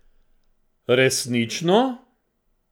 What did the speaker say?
Resnično!